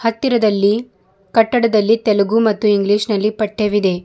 ಹತ್ತಿರದಲ್ಲಿ ಕಟ್ಟಡದಲ್ಲಿ ತೆಲಗು ಮತ್ತು ಇಂಗ್ಲಿಷ್ ನಲ್ಲಿ ಪಠ್ಯವಿದೆ.